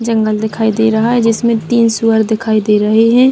जंगल दिखाई दे रहा है जिसमें तीन सूअर दिखाई दे रहे हैं।